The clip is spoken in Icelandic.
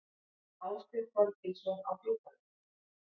Ásbjörn Þorgilsson á Djúpavík